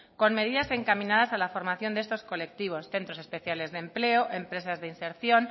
con medidas encaminadas a la formación de estos colectivos centros especiales de empleo empresas de inserción